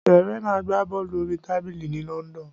Serena ń gbá bọ́ọ̀lù orí tábìlì ní London.